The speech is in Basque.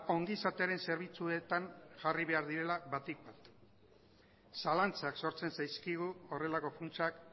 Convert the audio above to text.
ongizatearen zerbitzuetan jarri behar direla batik bat zalantzak sortzen zaizkigu horrelako funtsak